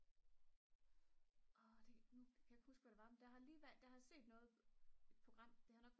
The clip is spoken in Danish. nu kan jeg ikke huske hvad det var men der har lige været der har set noget program det har nok